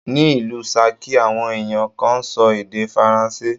Ní ìlú Ṣakí, àwọn ẹ̀yàn kan ń sọ èdè Faransé.